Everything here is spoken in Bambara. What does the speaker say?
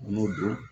N'o don